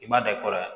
I m'a da i kɔrɔ yan